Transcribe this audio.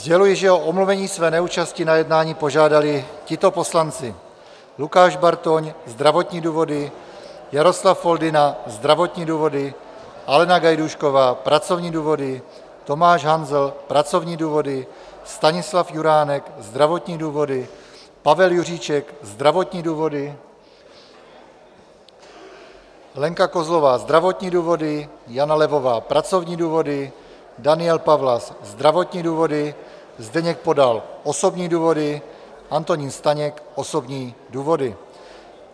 Sděluji, že o omluvení své neúčasti na jednání požádali tito poslanci: Lukáš Bartoň - zdravotní důvody, Jaroslav Foldyna - zdravotní důvody, Alena Gajdůšková - pracovní důvody, Tomáš Hanzel - pracovní důvody, Stanislav Juránek - zdravotní důvody, Pavel Juříček - zdravotní důvody, Lenka Kozlová - zdravotní důvody, Jana Levová - pracovní důvody, Daniel Pawlas - zdravotní důvody, Zdeněk Podal - osobní důvody, Antonín Staněk - osobní důvody.